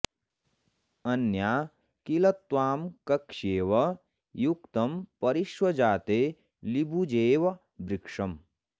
अन्या किल त्वां कक्ष्येव युक्तं परि ष्वजाते लिबुजेव वृक्षम्